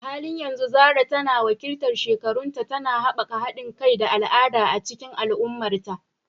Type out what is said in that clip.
A halin yanzu Zarah tana wakiltar shekarunta, tana haɓaka haɗin kai da al'ada a cikin al'ummarta.